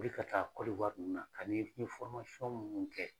wuli ka taa ninnu na ani n ye minnu kɛ.